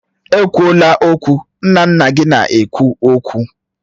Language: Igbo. Ekwula okwu! Nna nna gị na-ekwu okwu